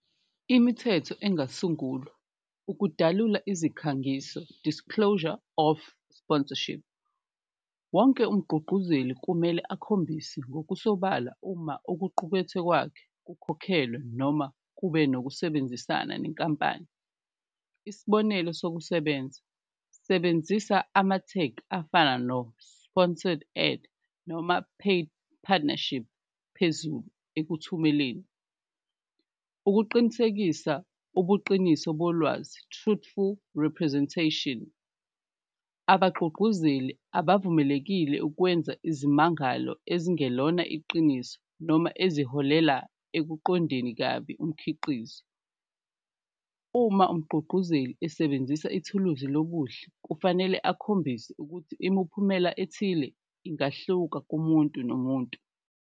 Imithetho engasungulwa ukudalula izikhangiso, disclosure of sponsorship, wonke umgqugquzeli kumele akhombise ngokusobala uma okuqukethwe kwakhe kukhokhelwe noma kube nokusebenzisana nenkampani, isibonelo sokusebenza, sebenzisa amathegi afana no-sponsored ad, noma paid partnership phezulu ekuthumeleni. Ukuqinisekisa ubuqiniso bolwazi, truthful representation abagqugquzeli abavumelekile ukwenza izimangalo ezingelona iqiniso noma eziholela okuqondeni kabi umkhiqizo. Uma umgqugquzeli esebenzisa ithuluzi lobuhle kufanele akhombise ukuthi imuphumela ethile ingahluka kumuntu nomuntu.